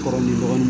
Kɔrɔ ni mɔgɔ